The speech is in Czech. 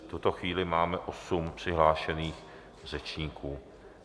V tuto chvíli máme osm přihlášených řečníků.